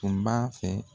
Tun b'a fɛ